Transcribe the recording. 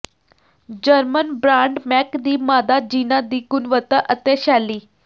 German brand Mac ਦੀ ਮਾਦਾ ਜੀਨਾਂ ਦੀ ਗੁਣਵੱਤਾ ਅਤੇ ਸ਼ੈਲੀ